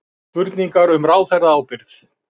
Spurningar um ráðherraábyrgð